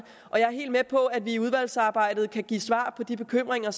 og jeg er helt med på at vi i udvalgsarbejdet kan give svar på de bekymringer